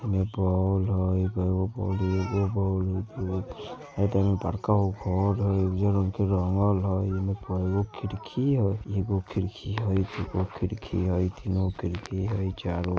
एने बाउल हई अ एने बड़का गो के हौद हई उजर रंग क रंगल हई एगो खिड़की हई एगो खिड़की हई दू गो खिड़की हई तीन गो खिड़की हई चार गो --